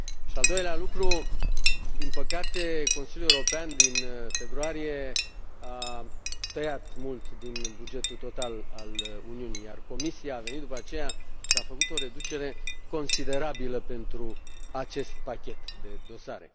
Al doilea lucru din păcate, Consiliul European din februarie a tăiat mult din bugetul total al Uniunii, iar Comisia a venit după aceea și a făcut o reducere considerabilă pentru acest pachet de dosare.